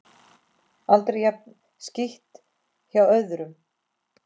Aldrei jafn skítt hjá öðrum.